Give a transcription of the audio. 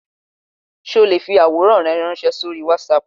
Sé o le fi àwòrán náà ránsẹ́ sórí Wásaàpù